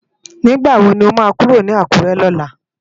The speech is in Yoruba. Nigbá wó ló má kúró ni Akure lòlá?